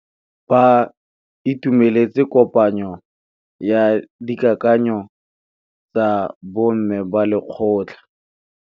Ba itumeletse kôpanyo ya dikakanyô tsa bo mme ba lekgotla.